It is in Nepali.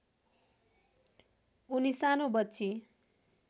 उनी सानो बच्ची